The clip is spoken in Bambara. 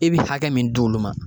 E bi hakɛ mun di olu ma